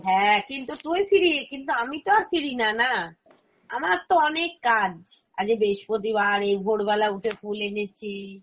হ্যাঁ কিন্তু তুই free কিন্তু আমি তো আর free না, না। আমার তো অনেক কাজ, আজকে বৃহস্পতিবার এই ভোরবেলা উঠে ফুল এনেছি,